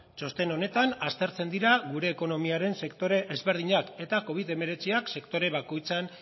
txosten honetan aztertzen dira gure ekonomiaren sektore ezberdinak eta covid hemeretziak sektore bakoitzean